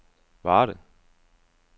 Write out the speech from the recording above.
Varde